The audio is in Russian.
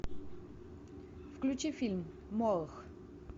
включи фильм молох